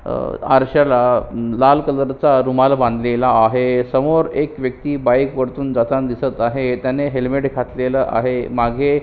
अह अरश्याला लाल कलर चा रुमाल बांधलेला आहे समोर एक व्यक्ति बाइक परतून जाताना दिसत आहे त्याने हेलमेट घातलेले आहे मागे--